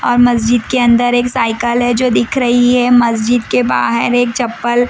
और मस्जिद के अंदर एक साइकल है जो दिख रही है मस्जिद के बाहर एक चप्पल--